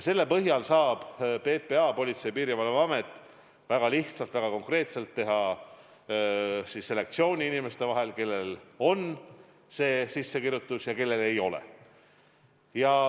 Selle põhjal saab PPA, Politsei- ja Piirivalveamet väga lihtsalt, väga konkreetselt teha selektsiooni inimeste vahel, kellel on sissekirjutus ja kellel ei ole.